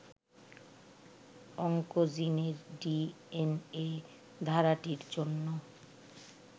অংকোজিনের DNA ধারাটির জন্য